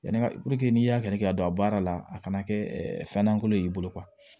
Yanni n'i y'a kɛ ka don a baara la a kana kɛ fɛn lankolon ye i bolo